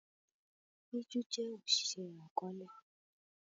Peju jé Oṣiṣẹ akọọlẹ